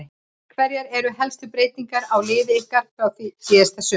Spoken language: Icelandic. Hverjar eru helstu breytingar á liði ykkar frá því síðastliðið sumar?